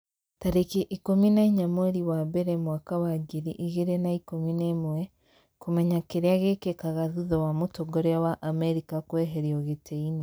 tarĩki ikũmi na inya mweri wa mbere mwaka wa ngiri igĩrĩ na ikũmi na ĩmweKũmenya kĩrĩa gĩkĩkaga thutha wa mũtongoria wa Amerika kũeherio gĩtĩ-inĩ